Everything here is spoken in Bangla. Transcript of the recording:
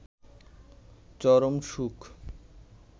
চরম সুখ